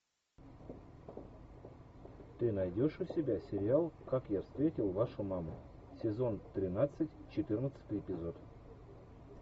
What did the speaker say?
ты найдешь у себя сериал как я встретил вашу маму сезон тринадцать четырнадцатый эпизод